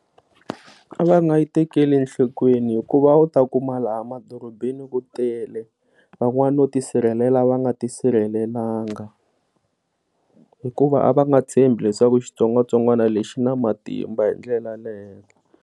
A va nga yi tekeli enhlokweni hikuva a wu ta kuma laha madorobeni ku tele van'wana no tisirhelela va nga tisirhelela nga hikuva a va nga tshembi leswaku xitsongwatsongwana lexi xina matimba hindlela ya leyo.